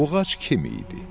Buğac kim idi?